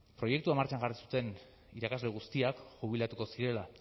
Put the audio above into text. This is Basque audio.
proiektua martxan jarri zuten irakasle guztiak jubilatuko zirela